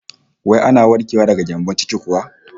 Wai ana warkewa daga gyambon ciki kuwa?